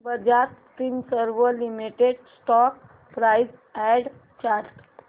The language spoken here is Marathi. Bajaj Finserv limited stock price and chart